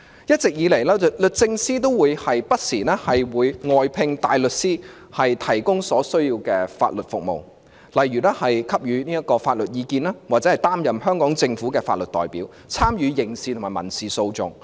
一直以來，律政司不時會外聘大律師提供所需要的法律服務，例如給予法律意見或擔任香港政府的法律代表，參與刑事及民事訴訟。